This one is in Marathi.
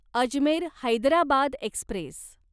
अजमेर हैदराबाद एक्स्प्रेस